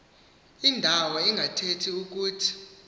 indawo ingathethi ukuthi